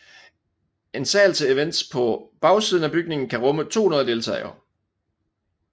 En sal til events på bagsiden af bygningen kan rumme 200 deltagere